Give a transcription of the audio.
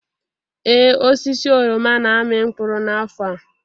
Ee, osisi oroma na-amị mkpụrụ n'afọ a.